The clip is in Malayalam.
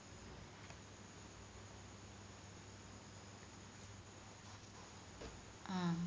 ആഹ്